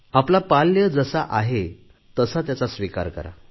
आपले पाल्य जसे आहे तसा त्याचा स्वीकार करा